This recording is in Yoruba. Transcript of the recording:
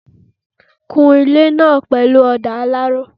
Kun ilé náà pẹ̀lú ọ̀dà alaro